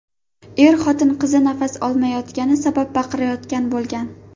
Er-xotin qizi nafas olmayotgani sabab baqirayotgan bo‘lgan.